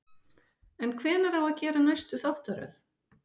En hvenær á að gera næstu þáttaröð?